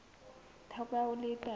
theko ya oli e tala